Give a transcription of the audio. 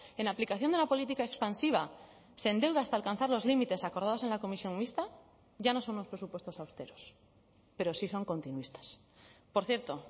en aplicación de la política expansiva se endeuda hasta alcanzar los límites acordados en la comisión mixta ya no son los presupuestos austeros pero sí son continuistas por cierto